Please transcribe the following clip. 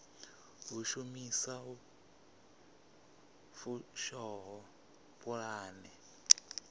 u shumisa lu fushaho pulane